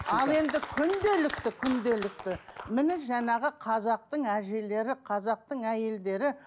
ал енді күнделікті күнделікті міне жаңағы қазақтың әжелері қазақтың әйелдері